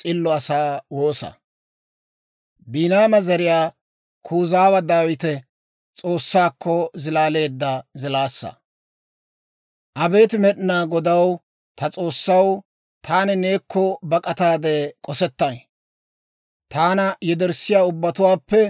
Abeet Med'inaa Godaw, ta S'oossaw, taani neekko bak'ataade k'osettay. Taana yederssiyaa ubbatuwaappe neeni taana ashsha akka.